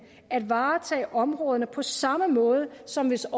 at varetage områderne på samme måde som hvis